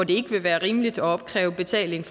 ikke vil være rimeligt at opkræve betaling